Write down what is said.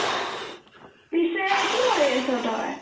পিছে কি কৰি আছো তই